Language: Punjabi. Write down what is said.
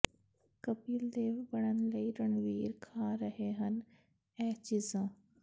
ਕਪਿਲ ਦੇਵ ਬਣਨ ਲਈ ਰਣਵੀਰ ਖਾ ਰਹੇ ਹਨ ਇਹ ਚੀਜ਼ਾਂ